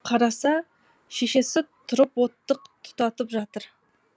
қараса шешесі тұрып оттық тұтатып жатыр